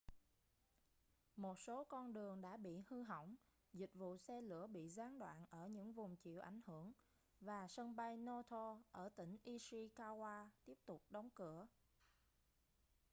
một số con đường đã bị hư hỏng dịch vụ xe lửa bị gián đoạn ở những vùng chịu ảnh hưởng và sân bay noto ở tỉnh ishikawa tiếp tục đóng cửa